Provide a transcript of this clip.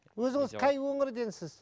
өзіңіз қай өңірденсіз